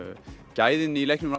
gæðin í leiknum